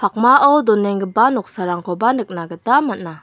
pakmao donenggipa noksarangkoba nikna gita man·a.